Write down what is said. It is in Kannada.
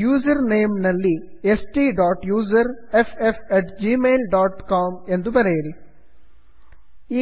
ಯೂಸರ್ನೇಮ್ ನಲ್ಲಿ STUSERFFgmailcom ಎಂದು ಬರೆಯಿರಿ